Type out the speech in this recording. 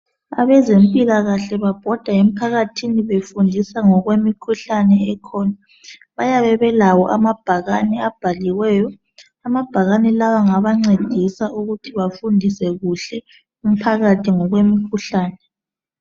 Abezempilakahle babhoda emphakathini befundisa ngokwemikhuhlane ekhona bayabe belawo amabhakane abhaliweyo amabhakane lawa ngabancedisa ukuthi bafundise kuhle umphakathi ngokwemikhuhlane.